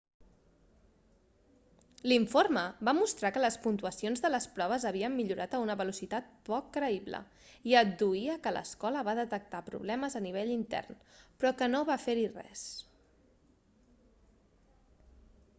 l'informe va mostrar que les puntuacions de les proves havien millorat a una velocitat poc creïble i adduïa que l'escola va detectar problemes a nivell intern però que no va fer-hi res